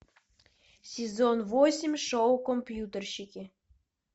сезон восемь шоу компьютерщики